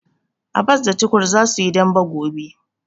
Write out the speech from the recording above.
Abba da Tukur za su yi dambe gobe.